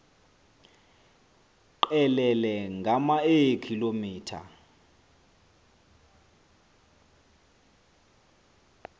qelele ngama eekilometha